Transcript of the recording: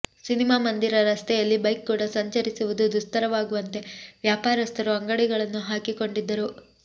cinema ಮಂದಿರ ರಸ್ತೆಯಲ್ಲಿ bike ಕೂಡ ಸಂಚರಿಸುವುದು ದುಸ್ತರವಾಗುವಂತೆ ವ್ಯಾಪಾರಸ್ಥರು ಅಂಗಡಿಗಳನ್ನು ಹಾಕಿಕೊಂಡಿದ್ದರು